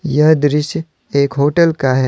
यह दृश्य एक होटल का है।